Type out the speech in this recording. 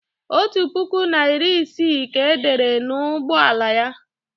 otu puku na iri ise ka e dere n'ụgbọ ala ya